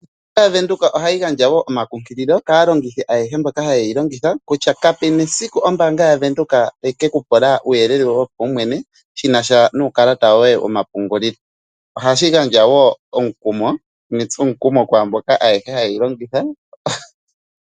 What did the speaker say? Ombaanga yaVenduka ohayi gandja wo omakunkililo kaantu mbono haye yi longitha, kutya kapu na esiku ombaanga yaVenduka tayi ke ku pula uuyelele woye wopaumwene shinasha nuukalata woye womapungulilo. Ohashi gandja nee omukumo netsomukumo kwaayehe mboka ha ye yi longitha.